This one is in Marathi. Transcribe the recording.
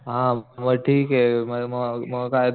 हा मग ठीके म म म